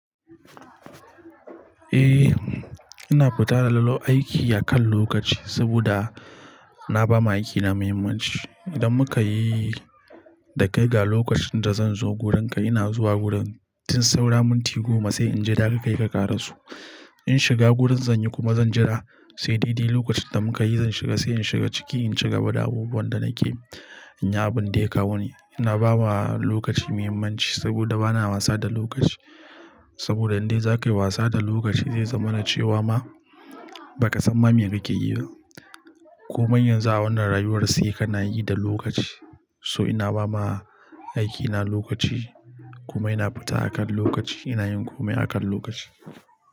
Eh, ina fita da lalo aiki akan lokaci saboda na ba ma aikina muhimmanci. Idan muka yi dakai ga lokacin da zan zo wurinka, ina zuwa wurin. Tin saura minti goma sai in je dakai ka ƙara so. In shiga wurin zan yi kuma zan jira sai dede lokacin da muka yi zan shiga, sai in shiga ciki in ci gaba da abubuwan da nake yin abun da ya kawo ni. Na ba ma lokaci muhimmanci saboda bana wasa da lokaci. Saboda in dai za ka yi wasa da lokaci zai zama na cewa ma ba ka san ma me kake yi ba. Komai yanzu a wannan rayuwar sai kana yi da lokaci. So ina ba ma aikina lokaci, komai na fita akan lokaci, ina yin komai akan lokaci.